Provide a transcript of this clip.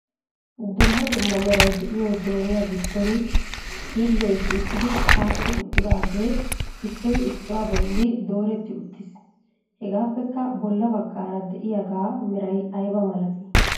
Dumma dumma meray de'iyo jooniya giddon xiile shiiqidi aadhdhi uttidaage issoy issuwaa bolli dooreti uttiis. Hegappekka bolla baggaara de'iyaaga meray aybba malati?